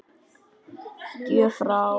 Gjöf frá